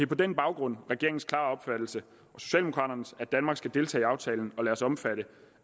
på den baggrund regeringens og socialdemokraternes klare at danmark skal deltage i aftalen og lade os omfatte